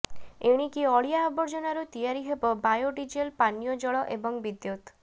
ଏଣିକି ଅଳିଆ ଆବର୍ଜନାରୁ ତିଆରି ହେବ ବାୟୋ ଡିଜେଲ ପାନୀୟ ଜଳ ଏବଂ ବିଦ୍ୟୁତ